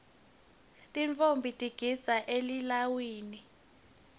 tintfombi tigidza elilawini